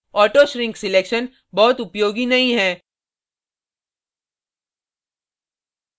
auto shrink selection बहुत उपयोगी नहीं है